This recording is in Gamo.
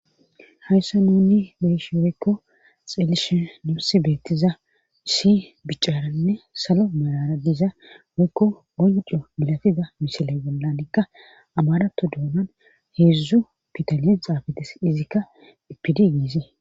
hayssa nunni be'ishi woykko xelishe nusi beettizasi bicaaranne salo malara diza woykko gonco bilatida misila gollanikka abarato doonan heedzdzu pidalyen xaafates izikka ipidi giizee